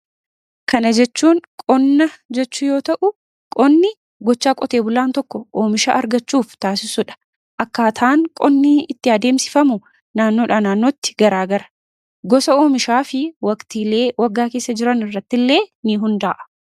Kana jechuun qonna jechuu yoo ta'u. Qonni gochaa qotee bulaan tokko oomishaa argachuuf taasissuudha. Akkaataan qonnii itti adeemsifamu naannoodha naannootti garaagara gosa oomishaa fi waqtiilee waggaa keessa jiran irratti illee ni hundaa'a.